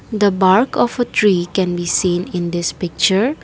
the bark of a tree can be seen in this picture.